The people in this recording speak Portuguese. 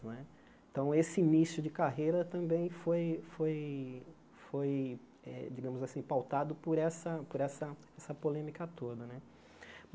Né então, esse início de carreira também foi foi foi eh, digamos assim, pautado por essa por essa por essa polêmica toda né.